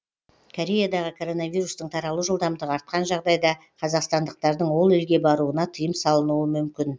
кореядағы короновирустың таралу жылдамдығы артқан жағдайда қазақстандықтардың ол елге баруына тыйым салынуы мүмкін